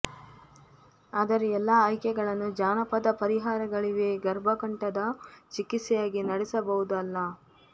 ಆದರೆ ಎಲ್ಲಾ ಆಯ್ಕೆಗಳನ್ನು ಜಾನಪದ ಪರಿಹಾರಗಳಿವೆ ಗರ್ಭಕಂಠದ ಚಿಕಿತ್ಸೆಯಾಗಿ ನಡೆಸಬಹುದು ಅಲ್ಲ